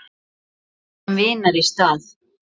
Við söknum vinar í stað.